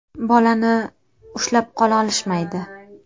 Bolani ushlab qola olishmaydi.